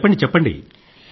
చెప్పండి చెప్పండి